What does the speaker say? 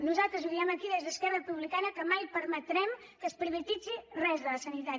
nosaltres ho diem aquí des d’esquerra republicana que mai permetrem que es privatitzi res de la sanitat